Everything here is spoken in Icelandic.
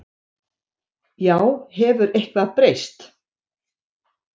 Já, hefur eitthvað breyst?